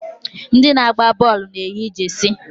Ndị na-agba bọọlụ na-eyi jesi.